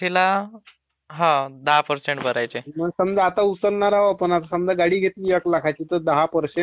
अं समझा आता उचलणार आहोत ना समजा आता गाडी घेतली एक लाखाची तर दहा पर्सेंट दहा टक्के आपल्याला भरण आहे आता.